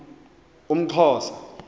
umxhosa